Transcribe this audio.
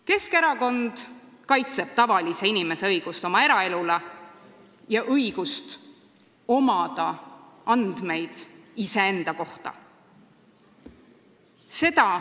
Keskerakond kaitseb tavalise inimese õigust oma eraelule ja õigust omada andmeid iseenda kohta.